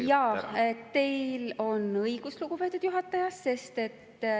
Jaa, teil on õigus, lugupeetud juhataja.